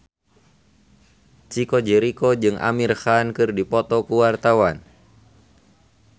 Chico Jericho jeung Amir Khan keur dipoto ku wartawan